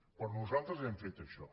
però nosaltres hem fet això